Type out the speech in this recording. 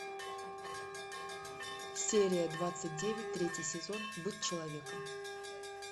серия двадцать девять третий сезон будь человеком